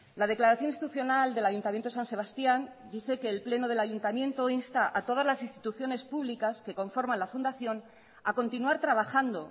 la declaración institucional del ayuntamiento de san sebastián dice que el pleno del ayuntamiento insta a todas las instituciones públicas que conforman la fundación a continuar trabajando